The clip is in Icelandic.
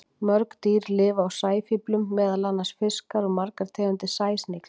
Mörg dýr lifa á sæfíflum, meðal annars fiskar og margar tegundir sæsnigla.